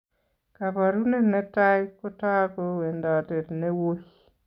Kaparunet netai kotaak ko wendotet newui